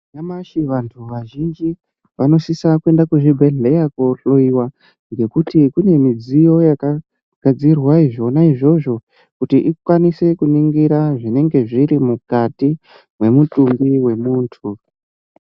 Nyamashi vantu vazhinji vanosisa kuenda kuzvibhedhlera kohloyiwa ngekuti kune midziyo yakagadzirirwa zvona izvozvo kuti ikwanise kuningira zvinenge zviri mukati kwemutumbi wemuntu.